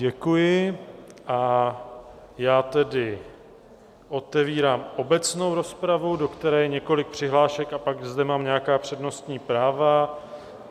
Děkuji, a já tedy otevírám obecnou rozpravu, do které je několik přihlášek, a pak zde mám nějaká přednostní práva.